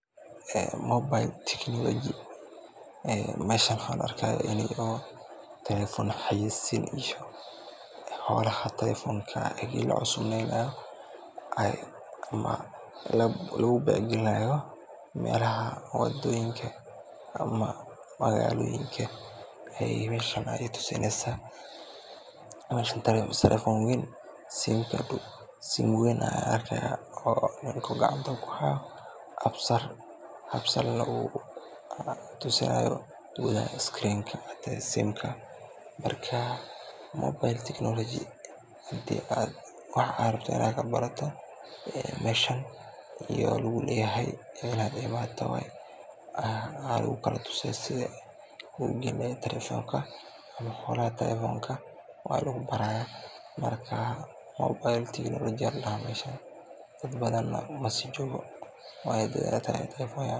mobile technology meeshan waxaa la arkaa in oo telefoon xayeeysin iyo howlaha telefoonka marka uu cusub yahay ama lagu beec galinaayo, meelaha wadoyinka ama magaaloyinka aay meeshan tusineysa, meeshan telefoon weyn ayaan arkaaya oo ninka gacanta kuhaayo, aap salna uu tusinaayo telefonka, hadii aad wax rabto inaad kabarato meeshan ayaa lagu leyahay inaad imaato waye ayaa lagu kala tusaa sidaad ugalin leheed telefonka, marka waa lagu baraaya, dad badan masii joogo meeshan.